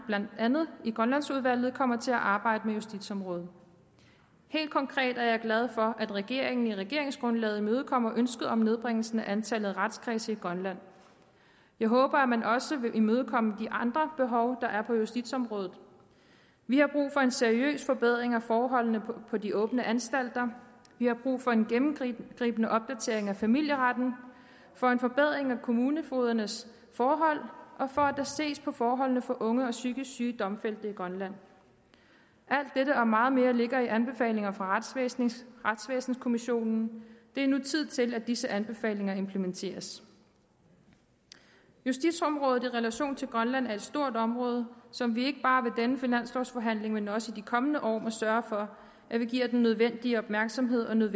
andet grønlandsudvalget kommer til at arbejde med justitsområdet helt konkret er jeg glad for at regeringen i regeringsgrundlaget imødekommer ønsket om en nedbringelse af antallet af retskredse i grønland jeg håber at man også vil imødekomme de andre behov der er på justitsområdet vi har brug for en seriøs forbedring af forholdene på de åbne anstalter vi har brug for en gennemgribende opdatering af familieretten for en forbedring af kommunefogedernes forhold og for at der ses på forholdene for unge psykisk syge domfældte i grønland alt dette og meget mere ligger i anbefalinger fra retsvæsenskommissionen det er nu tid til at disse anbefalinger implementeres justitsområdet i relation til grønland er et stort område som vi ikke bare ved denne finanslovforhandling men også i de kommende år må sørge for at vi give den nødvendige opmærksomhed